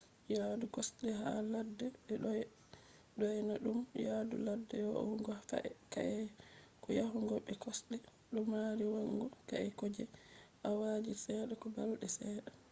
yaadu kosde ha ladde be do dyona dum yadu ladde va’ugo ka’e ko yahugo be kosde do mari va’ugo ka’e ko je awaji sedda ko balde sedda